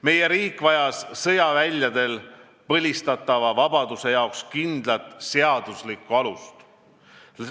Meie riik vajas sõjaväljadel põlistatava vabaduse jaoks kindlat seaduslikku alust.